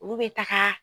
Olu bɛ taga